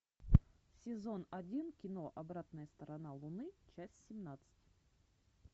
сезон один кино обратная сторона луны часть семнадцать